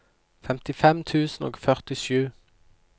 femtifem tusen og førtisju